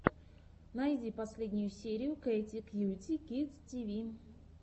найди последнюю серию кэти кьюти кидс ти ви